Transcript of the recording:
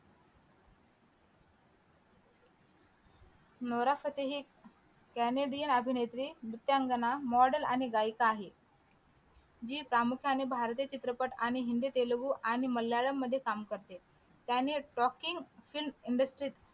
नोरा Fatehi Canadian अभिनेत्री नृत्यांगना मॉडेल आणि गायिका आहे जी प्रामुख्याने भारतीय चित्रपट आणि हिंदी तेलगू आणि मल्याळम मध्ये काम करते त्यांनी rocking film industryt